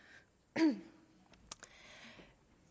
er